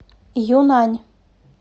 юнъань